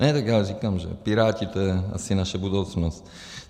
Ne, tak já říkám, že Piráti - to je asi naše budoucnost.